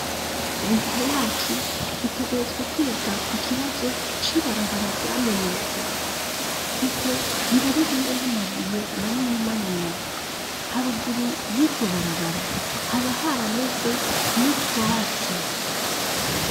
Leta yacu itegerezwa kwiga ku kibazo c'ibarabara ryamenetse kuko riba ririmwo n'amabuye manini manini ,haruguru y'iryo barabara haba harameze n'utwatsi.